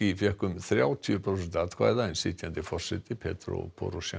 fékk um þrjátíu prósent atkvæða en sitjandi forseti